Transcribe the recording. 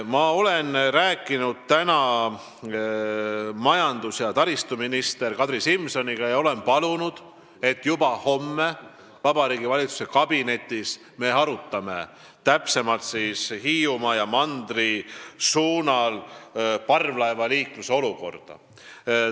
Ma rääkisin täna majandus- ja taristuminister Kadri Simsoniga ning palusin, et me arutaksime juba homme Vabariigi Valitsuse kabinetiistungil täpsemalt Hiiumaa ja mandri vahelise parvlaevaliikluse olukorda.